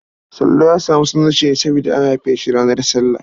Sallau ya samu sunansa ne saboda an haife shi ranar sallah.